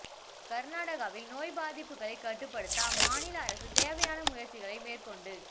கர்நாடகாவில் நோய் பாதிப்புகளை கட்டுப்படுத்த அம்மாநில அரசு தேவையான முயற்சிகளை மேற்கொண்டு